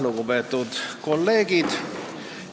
Lugupeetud kolleegid!